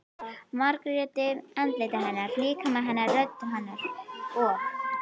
Margréti- andliti hennar, líkama hennar, rödd hennar- og